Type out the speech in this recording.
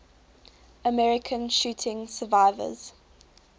american shooting survivors